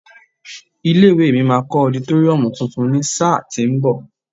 Ilé ìwée mi máa kọ́ ọditóríọ̀mù tuntun ní sáà tí ń bọ̀.